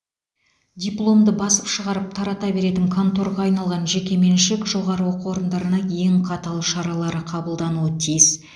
дипломды басып шығарып тарата беретін конторға айналған жекеменшік жоғары оқу орындарына ең қатал шаралар қабылдануы тиіс